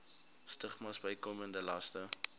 stigmas bykomende laste